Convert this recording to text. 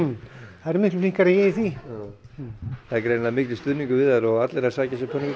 þær eru miklu flinkari en ég í því það er greinilega mikill stuðningur við þær og allir að sækja sér pönnukökur